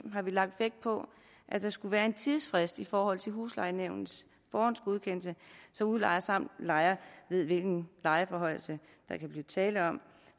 har vi lagt vægt på at der skulle være en tidsfrist i forhold til huslejenævnets forhåndsgodkendelse så udlejer samt lejer ved hvilken lejeforhøjelse der kan blive tale om